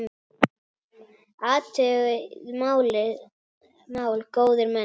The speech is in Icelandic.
Athugið þetta mál, góðir menn!